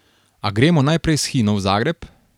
A gremo najprej s Hino v Zagreb.